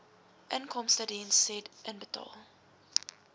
inkomstediens said inbetaal